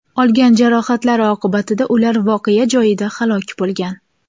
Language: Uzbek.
Olgan jarohatlari oqibatida ular voqea joyida halok bo‘lgan.